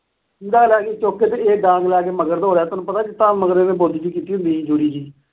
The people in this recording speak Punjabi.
ਲੈ ਗਈ ਚੁੱਕ ਕੇ ਤੇ ਇਹ ਡਾਂਗ ਲੈ ਕੇ ਮਗਰ ਦੌੜਿਆ, ਤੈਨੂੰ ਪਤਾ ਏ, ਮਗਰ ਇਹਦੇ ਬੋਦੀ ਜੀ ਕੀਤੀ ਹੁੰਦੀ ਸੀ, ਜੂੜੀ ਜੀ।